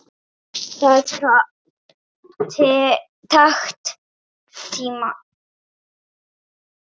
Það taki tíma.